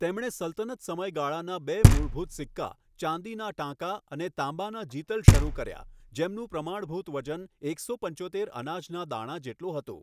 તેમણે સલ્તનત સમયગાળાના બે મૂળભૂત સિક્કા ચાંદીના ટાંકા અને તાંબાના જિતલ શરૂ કર્યા જેમનું પ્રમાણભૂત વજન એકસો પંચોતેર અનાજના દાણા જેટલું હતું,